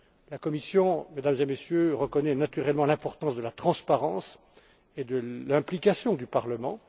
La Commission, Mesdames et Messieurs, reconnaît naturellement l'importance de la transparence et de l'implication du Parlement.